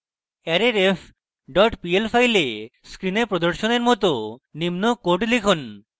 arrayref dot pl file screen প্রদর্শনের মত নিম্ন code লিখুন